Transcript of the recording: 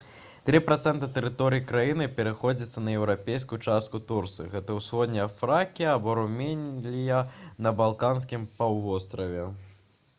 3% тэрыторыі краіны прыходзіцца на еўрапейскую частку турцыі гэта усходняя фракія або румелія на балканскім паўвостраве